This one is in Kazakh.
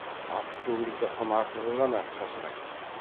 асып төгіліп жатқан артығы ғана шашырайды